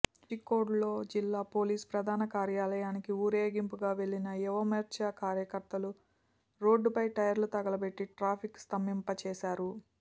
కోజిక్కోడ్లో జిల్లా పోలీసు ప్రధాన కార్యాలయానికి ఊరేగింపుగా వెళ్లిన యువమోర్చ కార్యకర్తలు రోడ్డుపై టైర్లు తగలబెట్టి ట్రాఫిక్కు స్తంభింపచేశారు